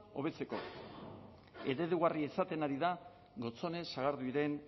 hobetzeko eredugarria izaten ari da gotzone sagarduiren